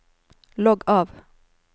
logg av